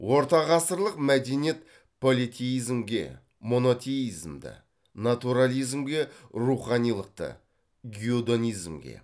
ортағасырлық мәдениет политеизмге монотеимзді натурализмге руханилықты геодонизмге